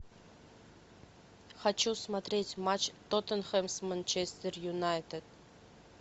хочу смотреть матч тоттенхэм с манчестер юнайтед